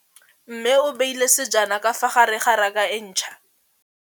Mmê o beile dijana ka fa gare ga raka e ntšha.